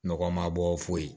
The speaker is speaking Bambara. Nɔgɔma bɔ foyi ye